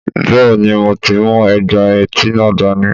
Bẹ́ẹ̀ni mo ti mú ègbà etí náà dání